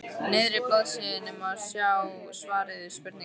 miðri blaðsíðunni má sjá svarið við spurningunni